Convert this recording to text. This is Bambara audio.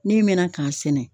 Ne mɛna k'a sɛnɛ.